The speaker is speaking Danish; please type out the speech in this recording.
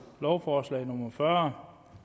lovforslag nummer fyrre